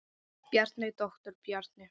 Bjarni, doktor Bjarni.